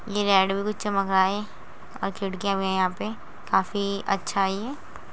ये लाइट भी कुछ चमक रहा है और खिड़कियां भी यंहा पे काफी अच्छा है ये।